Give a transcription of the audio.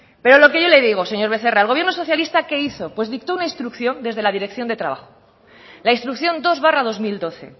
pero lo que yo le digo señor becerra el gobierno socialista qué hizo pues dictó una instrucción desde la dirección de trabajo la instrucción dos barra dos mil doce